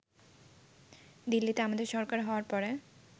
দিল্লিতে আমাদের সরকার হওয়ার পরে